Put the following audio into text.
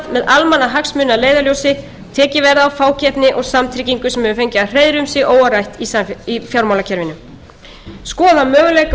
almannahagsmuni að leiðarljósi tekið verði á fákeppni og samtryggingu sem hefur fengið að hreiðra um sig óáreitt í fjármálakerfinu skoða möguleika á